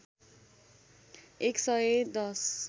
१ सय १०